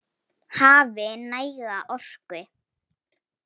Hafi næga orku.